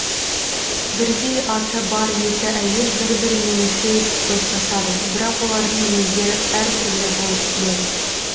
бірдей аты бар екі әйел бір бірімен тез достасады бірақ олардың мінездері әр түрлі болып келеді